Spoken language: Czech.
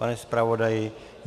Pane zpravodaji?